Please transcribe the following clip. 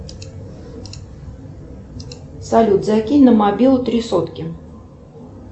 салют закинь на мобилу три сотки